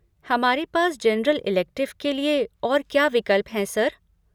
हमारे पास general elective के लिए और क्या विकल्प हैं, सर?